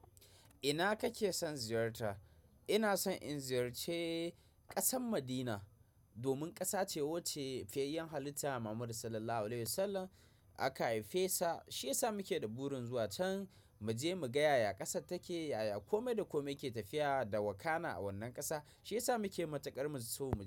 Ina kake son ziyarta? Ina son in ziyarci ƙasar Madina domin ƙasa ce wacce fiyayyen halitta Mahammadu Sallallahu Alaihi Wasallam aka haife sa. Shi ya sa muke da burin zuwa can, mu je mu ga yaya ƙasar take, yaya kome da kome yake tafiya da wakana a wannan ƙasa. Shi ya sa muke matuƙar muso.